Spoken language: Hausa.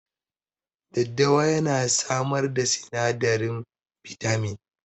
Daddawa ya na samar da sinadarin bitamin